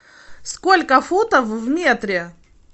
сколько футов в метре